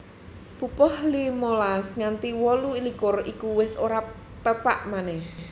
Pupuh limolas nganti wolu likur iku wis ora pepak manèh